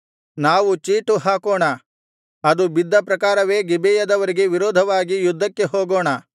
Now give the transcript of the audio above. ನಾವು ಚೀಟು ಹಾಕೋಣ ಅದು ಬಿದ್ದ ಪ್ರಕಾರವೇ ಗಿಬೆಯದವರಿಗೆ ವಿರೋಧವಾಗಿ ಯುದ್ಧಕ್ಕೆ ಹೋಗೋಣ